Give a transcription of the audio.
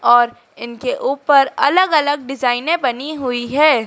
और उनके ऊपर अलग-अलग डिजाइने बनी हुई हैं।